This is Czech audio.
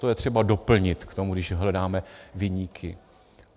To je třeba doplnit k tomu, když hledáme viníky.